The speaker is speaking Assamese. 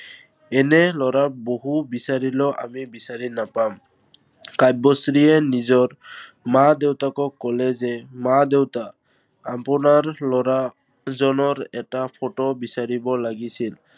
এনে লৰা বহু বিচাৰিলেও আমি বিচাৰি নাপাম। কাব্যশ্ৰীয়ে নিজৰ মা-দেউতাকক কলে যে, মা -দেউতা আপোনাৰ লৰাজনৰ এটা photo বিচাৰিব লাগিছিল।